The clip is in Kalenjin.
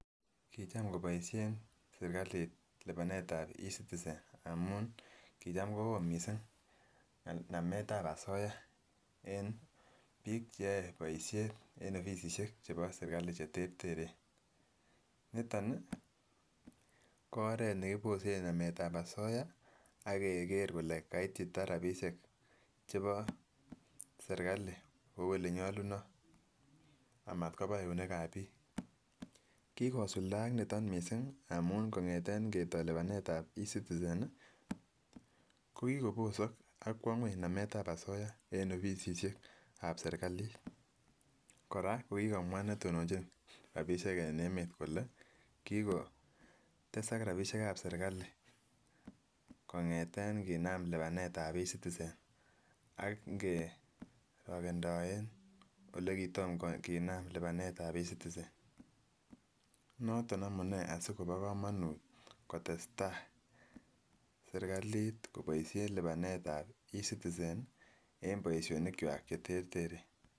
Kicham koboishen serikali lipanet ab ecitizen amun kicham kowoo missing ngemet ab asoiya en bik cheyoe boishet en offisisiek chebo serikali cheterteren. Niton niii ko oret nekiboset ngemet ab asoyaa ak Keker kole kaitita rabishek chebo serikali kou ole nyoluno amat koba eunek ab bik. Kikosuldaak niton missing amun kongeten ingetoo. Lipanet ab ecitizen nii kokikobosok AK kwo ngueny ngalek ab asoiya en offisisiek ab serikalit Koraa kokokomwa netinonchi rabishek en emet kole kikotesa rabishek ab serikali kongeten inkinam lipanet ab ecitizen ak inkirokendoe ole kitom kinam lipanet ab ecitizen . Noto amunee sikobit komonut kotestai serikalit koboishet lipanet ab ecitizen nii en koboishet boishonik kwak cheterteren.